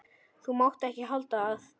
Þú mátt ekki halda að.